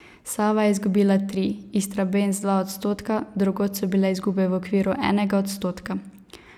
Sava je izgubila tri, Istrabenz dva odstotka, drugod so bile izgube v okviru enega odstotka.